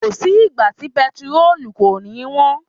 Kò sí ìgbà tí bẹntiróòlù kò ní wọ́n.